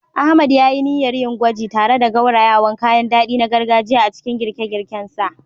Ahmad ya yi niyyar yin gwaji tare da gaurayawan kayan dadi na gargajiya a cikin girke-girken sa.